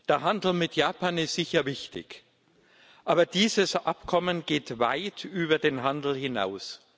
Der Handel mit Japan ist sicher wichtig, aber dieses Abkommen geht weit über den Handel hinaus.